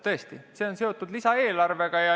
Tõesti, see on seotud lisaeelarvega.